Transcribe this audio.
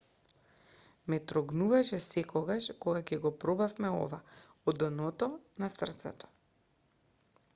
ме трогнуваше секогаш кога ќе го пробувавме ова од дното на срцето